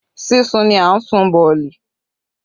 Sísun ni a ń sun boolì